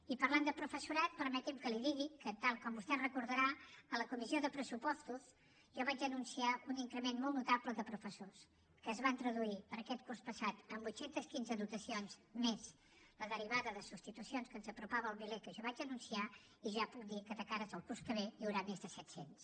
i parlant de professorat permeti’m que li digui que tal com vostè deu recordar a la comissió de pressupostos jo vaig anunciar un increment molt notable de professors que es van traduir per a aquest curs passat en vuit cents i quinze dotacions més la derivada de substitucions que ens apropava al miler que jo vaig anunciar i ja puc dir que de cara al curs que ve n’hi haurà més de set cents